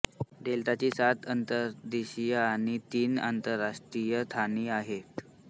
डेल्टाची सात अंतर्देशीय आणि तीन आंतरराष्ट्रीय ठाणी आहेत